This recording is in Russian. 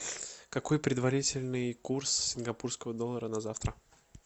какой предварительный курс сингапурского доллара на завтра